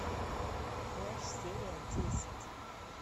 флэш серия десять